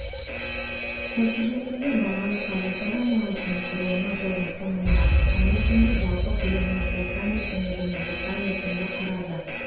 нәтижесінде бағалы қағаздар айналысының құрылымы жылдың соңында қысқа мерзімді жалпы көлемінің орта мерзімді және орта мерзімді құрады